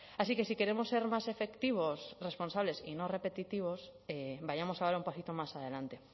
así que si queremos ser más efectivos responsables y no repetitivos vayamos a dar un pasito más adelante